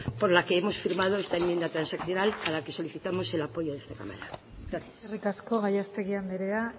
por la que hemos firmado esta enmienda transaccional para la que solicitamos el apoyo de esta cámara gracias eskerrik asko gallastegui andrea